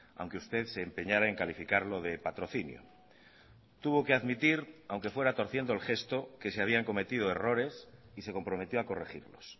aunque usted se empeñara en calificarlo de patrocinio tuvo que admitir aunque fuera torciendo el gesto que se habían cometido errores y se comprometió a corregirlos